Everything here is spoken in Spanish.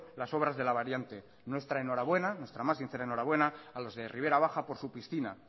las obras de la variante nuestra enhorabuena nuestra más sincera enhorabuena a los de ribera baja por su piscina